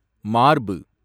மார்பு